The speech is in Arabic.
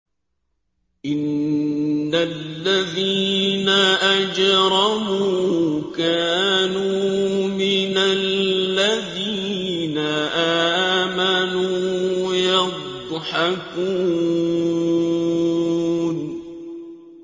إِنَّ الَّذِينَ أَجْرَمُوا كَانُوا مِنَ الَّذِينَ آمَنُوا يَضْحَكُونَ